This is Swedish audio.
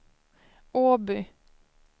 Åby